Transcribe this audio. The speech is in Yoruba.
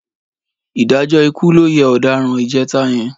Ìdájọ́ ikú ló yẹ ọ̀daràn ìjẹta yẹn.